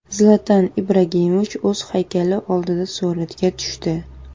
Zlatan Ibrahimovich o‘z haykali oldida suratga tushdi.